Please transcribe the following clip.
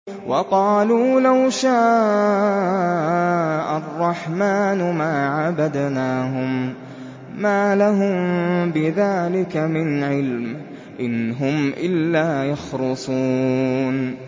وَقَالُوا لَوْ شَاءَ الرَّحْمَٰنُ مَا عَبَدْنَاهُم ۗ مَّا لَهُم بِذَٰلِكَ مِنْ عِلْمٍ ۖ إِنْ هُمْ إِلَّا يَخْرُصُونَ